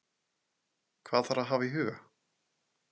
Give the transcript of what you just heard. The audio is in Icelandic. Hvað þarf að hafa í huga?